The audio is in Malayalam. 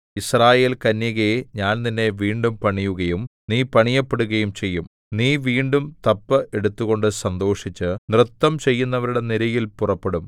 യിസ്രായേൽകന്യകേ ഞാൻ നിന്നെ വീണ്ടും പണിയുകയും നീ പണിയപ്പെടുകയും ചെയ്യും നീ വീണ്ടും തപ്പ് എടുത്തുകൊണ്ട് സന്തോഷിച്ച് നൃത്തംചെയ്യുന്നവരുടെ നിരയിൽ പുറപ്പെടും